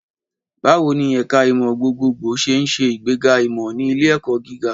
Báwo ni ẹ̀ka ìmọ̀ gbogbogbò ṣe ń ṣe ìgbéga ìmọ̀ ní ilé-ẹ̀kọ́ gíga?